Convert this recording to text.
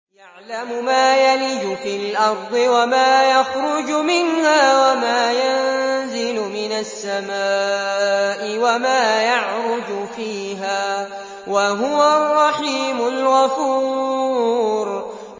يَعْلَمُ مَا يَلِجُ فِي الْأَرْضِ وَمَا يَخْرُجُ مِنْهَا وَمَا يَنزِلُ مِنَ السَّمَاءِ وَمَا يَعْرُجُ فِيهَا ۚ وَهُوَ الرَّحِيمُ الْغَفُورُ